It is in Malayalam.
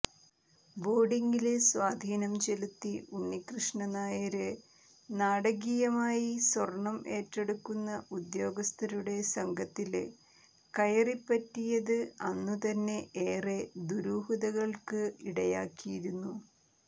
ബോര്ഡില് സ്വാധീനം ചെലുത്തി ഉണ്ണികൃഷ്ണനായര് നാടകീയമായി സ്വര്ണം ഏറ്റെടുക്കുന്ന ഉദ്യോഗസ്ഥരുടെ സംഘത്തില് കയറിപ്പറ്റിയത് അന്നുതന്നെ ഏറെ ദുരൂഹതകള്ക്ക് ഇടയാക്കിയിരുന്നു